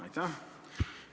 Aitäh!